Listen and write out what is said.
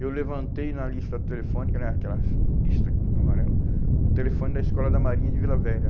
Eu levantei na lista telefônica, né aquela lista amarela, um telefone da Escola da Marinha de Vila Velha.